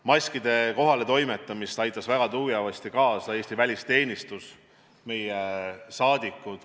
Maskide kohaletoimetamisele aitas väga tugevasti kaasa Eesti välisteenistus, aitasid kaasa meie saadikud.